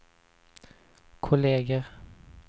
kolleger